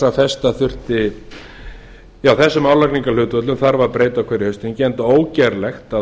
að þessum álagningarhlutföllum þarf að breyta á hverju haustþingi enda ógerlegt að